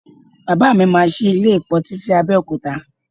Baba mi máa sí ilé ìpọntí sí Abẹ́òkúta